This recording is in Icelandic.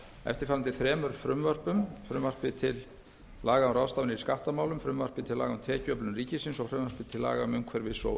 eftirfarandi þremur frumvörpum frumvarpi til laga um ráðstafanir í skattamálum frumvarpi til laga um tekjuöflun ríkisins og frumvarpi til laga um umhverfis og